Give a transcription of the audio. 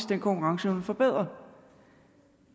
den konkurrenceevne forbedret